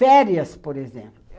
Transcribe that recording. Férias, por exemplo.